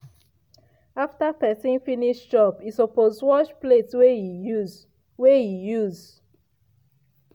after pesin finish chop e suppose wash plate wey e use. wey e use.